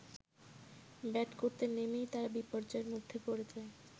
Bat করতে নেমেই তারা বিপর্যয়ের মধ্যে পড়ে যায়।